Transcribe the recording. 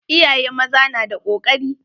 Iyaye maza na da kokari.